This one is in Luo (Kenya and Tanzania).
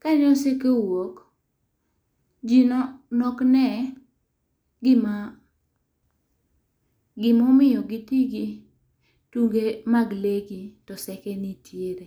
ka ne oseke owuok, ji ne ok ne gima, gima omiyo gi ti gi tunge mag lee gi to oseke nitiere.